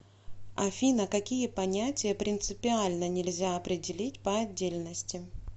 афина какие понятия принципиально нельзя определить по отдельности